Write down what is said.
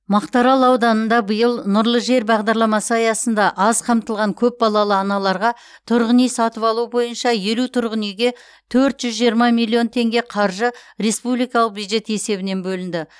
мақтаарал ауданында биыл нұрлы жер бағдарламасы аясында аз қамтылған көпбалалы аналарға тұрғын үй сатып алу бойынша елу тұрғын үйге төрт жүз жиырма миллион теңге қаржы республикалық бюджет есебінен бөлінді